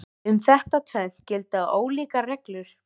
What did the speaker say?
Um þetta tvennt gilda ólíkar reglur.